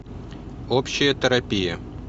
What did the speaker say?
общая терапия